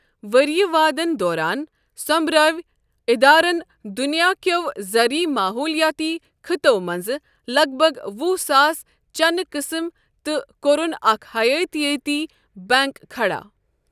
ؤریہ وادن دوران، سومبرٲو ادارن دنیاہ كیو زرعی ماحولیٲتی خطو منٛزٕ لگ بگ وُہ ساس چنہٕ قٕسم تہٕ كورُن اكھ حیٲتیٲتی بنٛک كھڈا۔